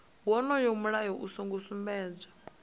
wonoyo mulayo u songo sumbedzwa